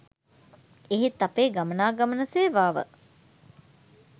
එහෙත් අපේ ගමනාගමන සේවාව